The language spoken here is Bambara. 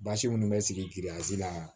Basi minnu bɛ sigi la